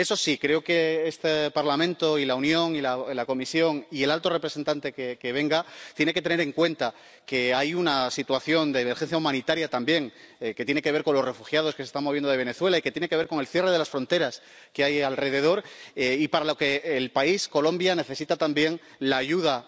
Eso sí, creo que este Parlamento y la Unión y la Comisión y el alto representante que venga tienen que tener en cuenta que hay una situación de emergencia humanitaria también, que tiene que ver con los refugiados que se están moviendo de Venezuela y que tiene que ver con el cierre de las fronteras que hay alrededor, y para lo que el país, Colombia, necesita también la ayuda